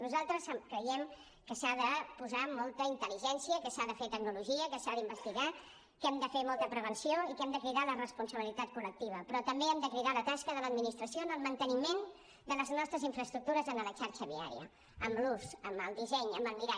nosaltres creiem que s’ha de posar molta intel·ligència que s’ha de fer tecnologia que s’ha d’investigar que hem de fer molta prevenció i que hem de cridar a la responsabilitat col·lectiva però també hem de cridar a la tasca de l’administració en el manteniment de les nostres infraestructures en la xarxa viària amb l’ús amb el disseny amb el mirar